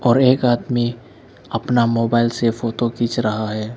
और एक आदमी अपना मोबाइल से फोटो खींच रहा है।